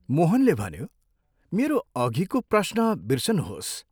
मोहनले भन्यो, " मेरो अधिको प्रश्न बिर्सनुहोस्।